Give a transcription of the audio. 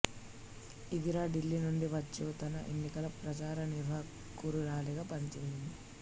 ఇందిరా ఢిల్లీ నుండి వచ్చొ తన ఎన్నికల ప్రచార నిర్వాహకురాలిగా పనిచేసింది